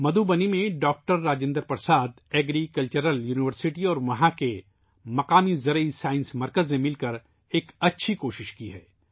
مدھوبنی میں ڈاکٹر راجندر پرساد زرعی یونیورسٹی اور مقامی کرشی وگیان مرکز نے مل کر اچھی کوشش کی ہے